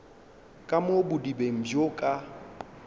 ka mo bodibeng bjo ka